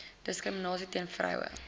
diskriminasie teen vroue